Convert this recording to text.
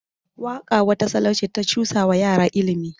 Waƙa wata salo ce ta cusawa yara ilimi.